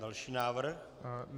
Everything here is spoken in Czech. Další návrh?